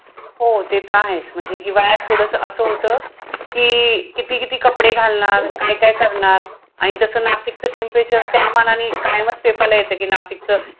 हो ते तं आहेच. म्हणजे हिवाळ्यात थोडंसं असं होतं. कि, किती किती कपडे घालणार? काय काय करणार? आणि तसं नाशिकचं temperature त्या मानाने कायमच पेपरला येतं, कि नाशिकचं